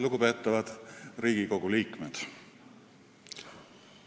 Lugupeetavad Riigikogu liikmed!